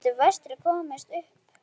En getur Vestri komist upp?